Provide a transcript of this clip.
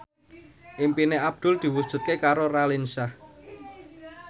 impine Abdul diwujudke karo Raline Shah